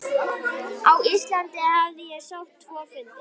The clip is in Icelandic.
Á Íslandi hafði ég sótt tvo fundi.